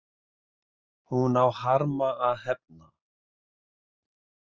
Hún á harma að hefna.